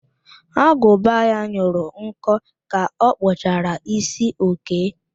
Agụba ya nyụrụ nkọ ka ọ kpụchara ísí Okee